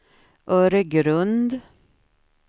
Öregrund